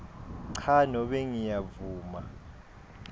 cha nobe ngiyavuma